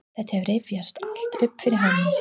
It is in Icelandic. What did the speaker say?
Þetta rifjast allt upp fyrir honum.